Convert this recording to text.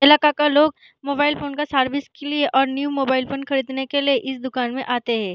एलाका का लोग mobile phone का सर्विस के लिए और न्यू मोबाइल फ़ोन खरीदने के लिए इस दुकान में आते हैं।